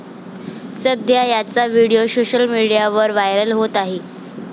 सध्या याचा video social मीडियावर व्हायरल होत आहे.